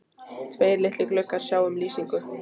Tveir litlir gluggar sjá um lýsingu